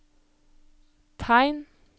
tegn